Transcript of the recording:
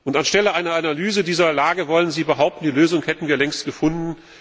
Anstelle einer Analyse dieser Lage wollen Sie behaupten, die Lösung hätten wir längst gefunden?